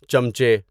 چمچے